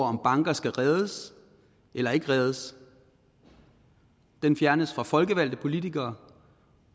om banker skal reddes eller ikke reddes fjernes fra folkevalgte politikere